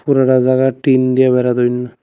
পুরাটা জায়গা টিন দিয়া বেড়া দইন্যা।